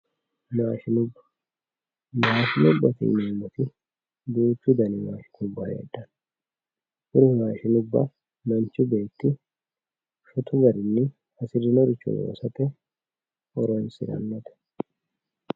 Maashinubba maashinubate yineemmoti duuchu dani maashinubba heedhanno kuri maashinubba manchi beetti hedinoricho shotu garinni horonsirannote